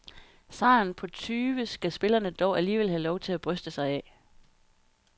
Sejren på tyve skal spillerne dog alligevel have lov til at bryste sig af.